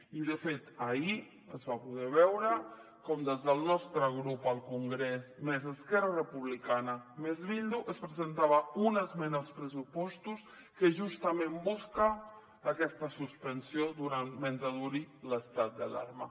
i de fet ahir es va poder veure com des del nostre grup al congrés més esquerra republicana més bildu es presentava una esmena als pressupostos que justament busca aquesta suspensió mentre duri l’estat d’alarma